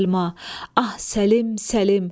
Ah, Səlim, Səlim!